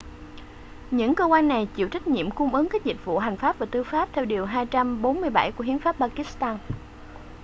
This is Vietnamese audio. những cơ quan này chịu trách nhiệm cung ứng các dịch vụ hành pháp và tư pháp theo điều 247 của hiến pháp pakistan